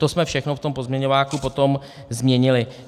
To jsme všechno v tom pozměňováku potom změnili.